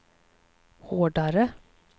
hårdare